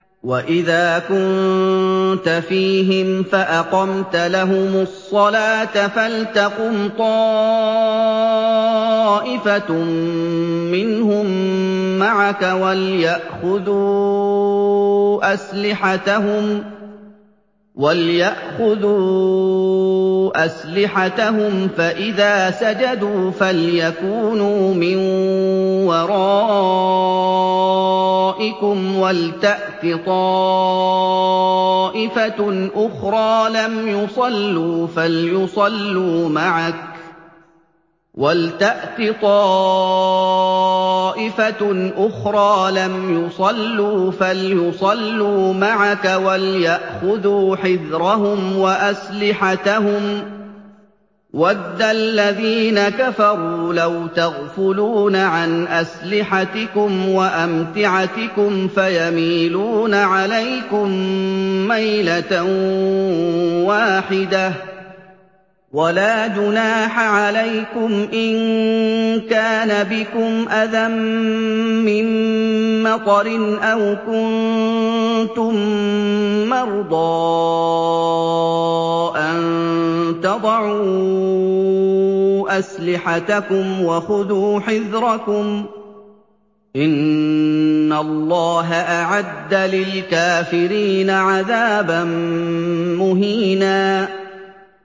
وَإِذَا كُنتَ فِيهِمْ فَأَقَمْتَ لَهُمُ الصَّلَاةَ فَلْتَقُمْ طَائِفَةٌ مِّنْهُم مَّعَكَ وَلْيَأْخُذُوا أَسْلِحَتَهُمْ فَإِذَا سَجَدُوا فَلْيَكُونُوا مِن وَرَائِكُمْ وَلْتَأْتِ طَائِفَةٌ أُخْرَىٰ لَمْ يُصَلُّوا فَلْيُصَلُّوا مَعَكَ وَلْيَأْخُذُوا حِذْرَهُمْ وَأَسْلِحَتَهُمْ ۗ وَدَّ الَّذِينَ كَفَرُوا لَوْ تَغْفُلُونَ عَنْ أَسْلِحَتِكُمْ وَأَمْتِعَتِكُمْ فَيَمِيلُونَ عَلَيْكُم مَّيْلَةً وَاحِدَةً ۚ وَلَا جُنَاحَ عَلَيْكُمْ إِن كَانَ بِكُمْ أَذًى مِّن مَّطَرٍ أَوْ كُنتُم مَّرْضَىٰ أَن تَضَعُوا أَسْلِحَتَكُمْ ۖ وَخُذُوا حِذْرَكُمْ ۗ إِنَّ اللَّهَ أَعَدَّ لِلْكَافِرِينَ عَذَابًا مُّهِينًا